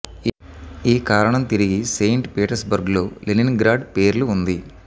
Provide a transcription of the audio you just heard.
ఈ కారణం తిరిగి సెయింట్ పీటర్స్బర్గ్ లో లెనిన్గ్రాడ్ పేర్లు ఉంది